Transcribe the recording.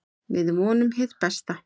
Við vonum hið besta.